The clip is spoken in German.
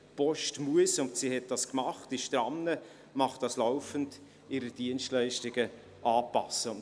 Die Post muss – und das hat sie getan, sie ist immer noch dabei, sie macht das laufend – ihre Dienstleistungen anpassen.